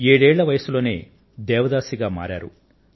ఏడేళ్ళ వయస్సు లోనే దేవదాసిగా మారారు